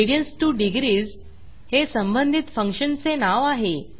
radians2डिग्रीस हे संबंधित फंक्शनचे नाव आहे